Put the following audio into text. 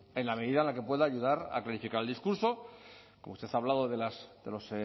en la medida en la que pueda ayudar a clarificar el discurso como usted ha hablado de los